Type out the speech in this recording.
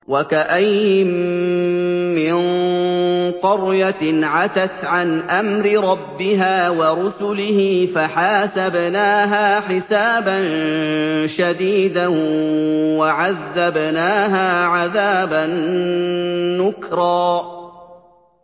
وَكَأَيِّن مِّن قَرْيَةٍ عَتَتْ عَنْ أَمْرِ رَبِّهَا وَرُسُلِهِ فَحَاسَبْنَاهَا حِسَابًا شَدِيدًا وَعَذَّبْنَاهَا عَذَابًا نُّكْرًا